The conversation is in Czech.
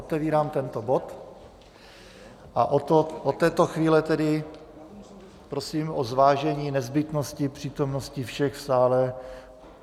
Otevírám tento bod a od této chvíle tedy prosím o zvážení nezbytnosti přítomnosti všech v sále.